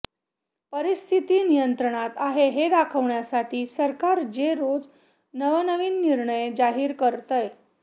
परिस्थिती नियंत्रणात आहे हे दाखवण्यासाठी सरकार जे रोज नवनवीन निर्णय जाहीर करतंय